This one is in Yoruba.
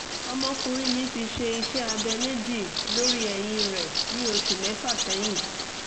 ọmọkùnrin mi ti ṣe iṣẹ́ abẹ méjì lórí ẹ̀yìn rẹ̀ ní oṣù mẹ́fà sẹ́yìn